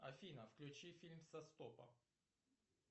афина включи фильм со стопа